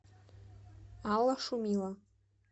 алла шумила